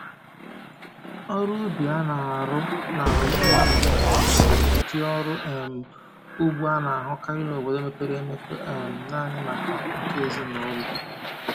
Ọrụ ubi a na-arụ n'azụ ụlọ um bụ ụdị ọrụ um ugbo a na-ahụkarị n'obodo mepere emepe um naanị maka nke ezinụlọ